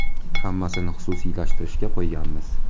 Hammasini xususiylashtirishga qo‘yganmiz.